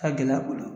A ka gɛlɛ u bolo